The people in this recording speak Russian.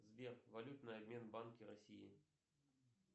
сбер валютный обмен в банке россии